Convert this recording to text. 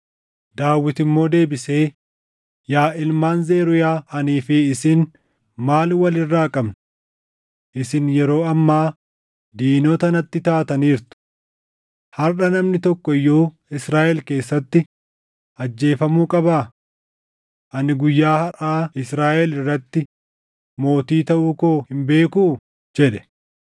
Daawit immoo deebisee, “Yaa ilmaan Zeruuyaa anii fi isin maal wal irraa qabna? Isin yeroo ammaa diinota natti taataniirtu! Harʼa namni tokko iyyuu Israaʼel keessatti ajjeefamuu qabaa? Ani guyyaa harʼaa Israaʼel irratti mootii taʼuu koo hin beekuu?” jedhe.